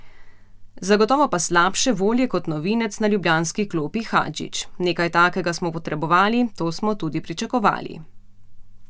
Zagotovo pa slabše volje kot novinec na ljubljanski klopi Hadžič: "Nekaj takega smo potrebovali, to smo tudi pričakovali.